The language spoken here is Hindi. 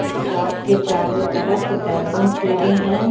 इस शॉप के चारों तरफ बैलूंस लगे हैं।